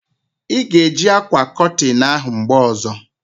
A ga e ji akwa kotin ahụ mgbe ozo